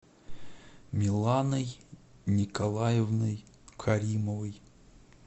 миланой николаевной каримовой